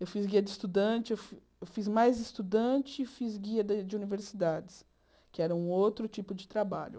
Eu fiz guia de estudante, eu fi fiz mais estudante e fiz guia de universidades, que era um outro tipo de trabalho.